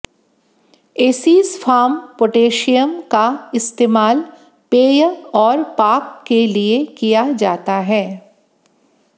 एसीसफाम potassium का इस्तेमाल पेय और पाक के लिए किया जाता है